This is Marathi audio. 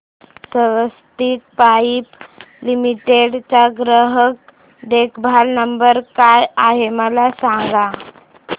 स्वस्तिक पाइप लिमिटेड चा ग्राहक देखभाल नंबर काय आहे मला सांगा